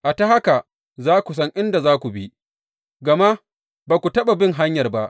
A ta haka za ku san inda za ku bi, gama ba ku taɓa bin hanyar ba.